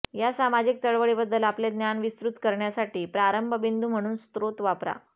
या सामाजिक चळवळीबद्दल आपले ज्ञान विस्तृत करण्यासाठी प्रारंभ बिंदू म्हणून स्त्रोत वापरा